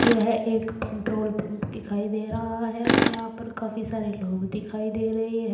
यह एक petrol pump दिखाई दे रहा है यहां पर काफी सारे लोग दिखाई दे रहे हैं।